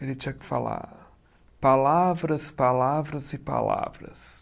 Ele tinha que falar palavras, palavras e palavras.